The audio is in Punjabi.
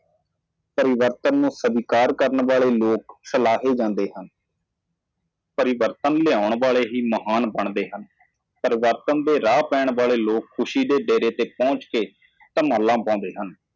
ਉਹ ਲੋਕ ਜੋ ਤਬਦੀਲੀ ਨੂੰ ਗਲੇ ਲਗਾਉਂਦੇ ਹਨ ਸਲਾਹ ਜਾਂਦੀ ਹੈ ਸਿਰਫ ਉਹ ਹੀ ਮਹਾਨ ਬਣਦੇ ਹਨ ਜੋ ਬਦਲਾਅ ਲਿਆਉਂਦੇ ਹਨ ਜੋ ਲੋਕ ਪਰਿਵਰਤਨ ਦੇ ਰਸਤੇ ਤੇ ਚੱਲਦੇ ਹਨ, ਉਹ ਸੁਖ ਦੇ ਨਿਵਾਸ ਤੱਕ ਪਹੁੰਚਦੇ ਹਨ ਟੀ ਮੱਲਾ ਦੇ ਪਾ ਦਿਓ